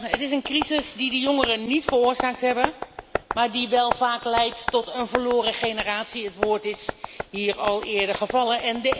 Het is een crisis die die jongeren niet veroorzaakt hebben, maar die wel vaak leidt tot een verloren generatie, het woord is hier al eerder gevallen.